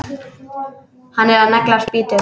Hann er að negla spýtu.